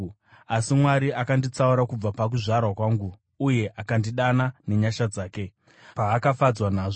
Asi Mwari akanditsaura kubva pakuzvarwa kwangu uye akandidana nenyasha dzake, paakafadzwa nazvo